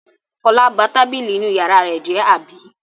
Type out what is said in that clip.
Fọlá ba tábìlì inú ìyàrá rẹ̀ jẹ́, àbí?